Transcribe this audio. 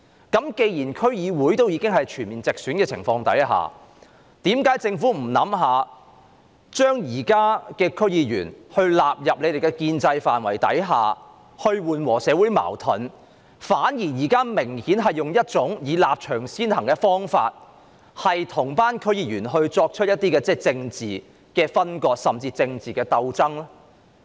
既然區議會已經全面直選，在這樣的情況下，為何政府不考慮把現任區議員納入建制範圍，以緩和社會矛盾，反而明顯地採用"立場先行"的做法，與區議員作出政治分割甚至鬥爭呢？